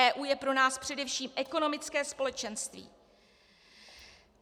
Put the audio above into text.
EU je pro nás především ekonomické společenství.